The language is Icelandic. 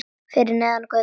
Fyrir neðan götuna.